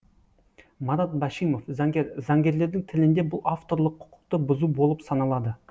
марат башимов заңгер заңгерлердің тілінде бұл авторлық құқықты бұзу болып саналады